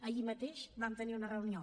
ahir mateix vam tenir una reunió